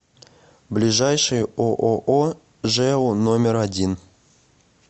ближайший ооо жэу номер один